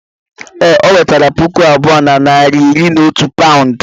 Ee, ọ wetere puku abụọ na narị na iri na otu paụnd.